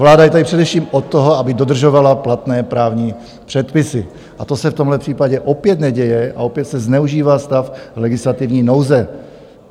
Vláda je tady především od toho, aby dodržovala platné právní předpisy, a to se v tomhle případě opět neděje a opět se zneužívá stav legislativní nouze.